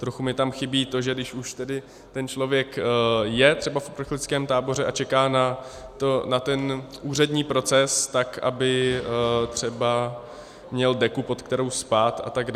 Trochu mi tam chybí to, že když už tedy ten člověk je třeba v uprchlickém táboře a čeká na ten úřední proces, tak aby třeba měl deku, pod kterou spí, atd.